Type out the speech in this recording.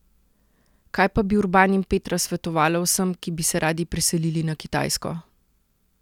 Kaj pa bi Urban in Petra svetovala vsem, ki bi se radi preselili na Kitajsko?